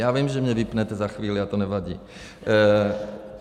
Já vím, že mě vypnete za chvíli, ale to nevadí.